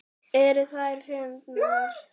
Eru þær fyndnar?